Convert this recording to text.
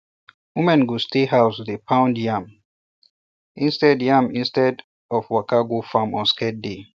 women go stay um house dey pound yam instead yam instead of waka go farm on sacred um day